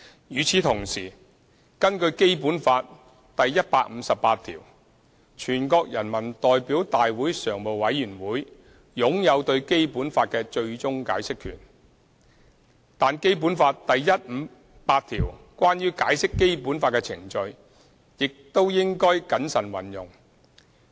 與此同時，根據《基本法》第一百五十八條，全國人民代表大會常務委員會擁有對《基本法》的最終解釋權，但《基本法》第一百五十八條關於解釋《基本法》的程序，亦應謹慎運用。